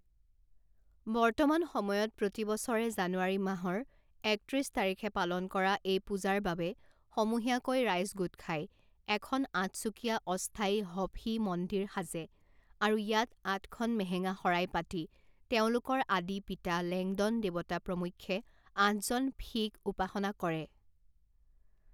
বৰ্তমান সময়ত প্ৰতিবছৰে জানুৱাৰী মাহৰ একত্ৰিছ তাৰিখে পালন কৰা এই পূজাৰ বাবে সমূহীয়াকৈ ৰাইজ গোট খাই এখন আঠচুকীয়া অস্থায়ী হ ফী মন্দিৰ সাজে আৰু ইয়াত আঠখন মেহেঙা শৰাই পাতি তেওঁলোকৰ আদি পিতা লেংডন দেৱতা প্ৰমুখ্যে আঠজন ফী ক উপাসনা কৰে।